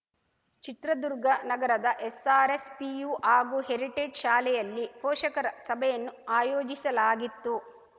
ಚಿತ್ರದುರ್ಗ ನಗರದ SRS PU ಹಾಗೂ heritage ಶಾಲೆಯಲ್ಲಿ ಪೋಷಕರ ಸಭೆಯನ್ನು ಆಯೋಜಿಸಲಾಗಿತ್ತು